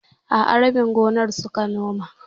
A'a, rabin gonar suka noma.